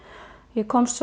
ég komst